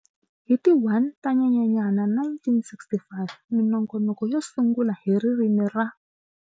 Hi ti 1 ta Nyenyenyani 1965, minongonoko yo sungula hi ririmi ra.